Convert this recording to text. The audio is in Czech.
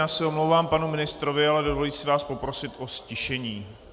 Já se omlouvám panu ministrovi, ale dovolím si vás poprosit o ztišení.